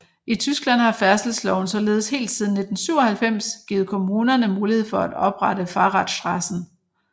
I Tyskland har færdselsloven således helt siden 1997 givet kommunerne mulighed for at oprette Fahrradstraßen